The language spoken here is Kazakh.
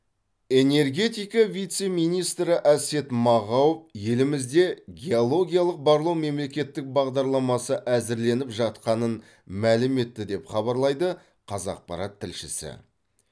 энергетика вице министрі әсет мағауов елімізде геологиялық барлау мемлекеттік бағдарламасы әзірленіп жатқанын мәлім етті деп хабарлайды қазақпарат тілшісі